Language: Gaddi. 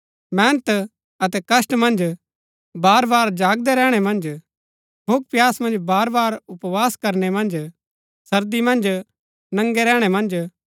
मेहनत अतै कष्‍ट मन्ज बारबार जागदै रैहणै मन्ज भूखप्यास मन्ज बार बार उपवास करनै मन्ज सर्दी मन्ज नंगे रैहणै मन्ज